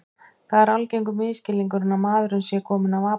Það er algengur misskilningur að maðurinn sé kominn af apategundum.